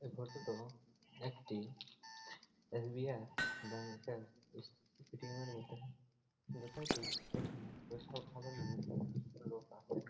এই ফটো -টো একটি এস.বি.আই. ব্যাঙ্কের -এর এস- এ.টি.এম. -এর বটে দেখা কি এখানে স্পেশাল খাবারের জন্য লোক আসে--